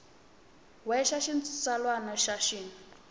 we xa xitsalwana na xin